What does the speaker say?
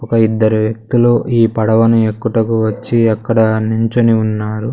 ఒక ఇద్దరి వ్యక్తులు ఈ పడవని ఎక్కుటకు వచ్చి అక్కడ నుంచుని ఉన్నారు.